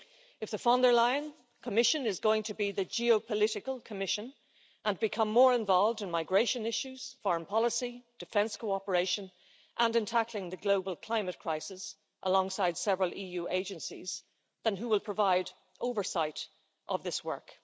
If the Von der Leyen Commission is going to be the geopolitical' Commission, and become more involved in migration issues, foreign policy, defence cooperation and in tackling the global climate crisis alongside several EU agencies then who will provide oversight of this work?